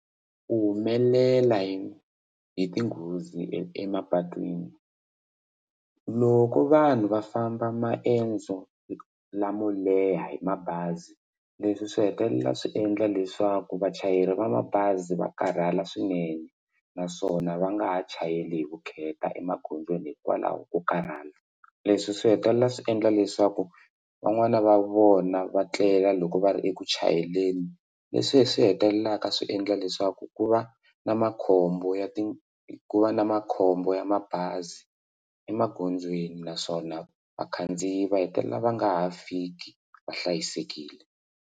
Ku humelela hi hi tinghozi emapatwini loko vanhu va famba maendzo lamo leha hi mabazi leswi swi hetelela swi endla leswaku vachayeri va mabazi va karhala swinene naswona va nga ha chayeli hi vukheta emagondzweni hikwalaho ko karhala leswi swi hetelela swi endla leswaku van'wani va vona va tlela loko va ri eku chayeleni leswi hi swi hetelelaka swi endla leswaku ku va na makhombo ya ti ku va na makhombo ya mabazi emagondzweni naswona vakhandziyi va hetelela va nga ha fiki va hlayisekile.